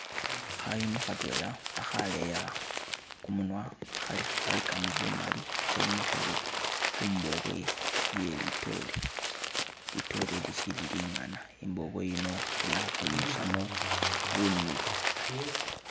Khayuni khatwela akhaleya kumunwa, khalikamo bu mali khe mikhile khumbobwe iye litoore, litoore ili lisili lingana, imbobwe yino khali ukhwinyusamo bunulu